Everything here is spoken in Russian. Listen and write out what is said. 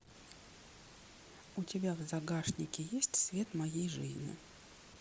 у тебя в загашнике есть свет моей жизни